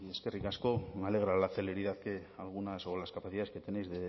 eskerrik asko me alegra la celeridad que algunas o las capacidades que tenéis